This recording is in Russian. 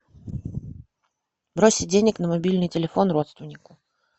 бросить денег на мобильный телефон родственнику